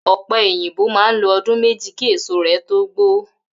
Ò̩pe̩ òyìnbó máa ń lo o̩dún méjì kí èso rè̩ tó gbó